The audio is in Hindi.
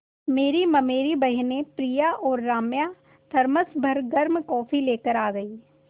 मेरी ममेरी बहिनें प्रिया और राम्या थरमस भर गर्म कॉफ़ी लेकर आ गईं